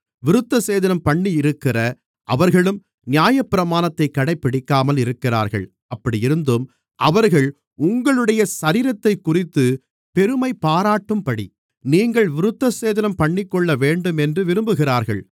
விருத்தசேதனம்பண்ணியிருக்கிற அவர்களும் நியாயப்பிரமாணத்தைக் கடைப்பிடிக்காமல் இருக்கிறார்கள் அப்படியிருந்தும் அவர்கள் உங்களுடைய சரீரத்தைக்குறித்துப் பெருமைப்பாராட்டும்படி நீங்கள் விருத்தசேதனம்பண்ணிக்கொள்ளவேண்டும் என்று விரும்புகிறார்கள்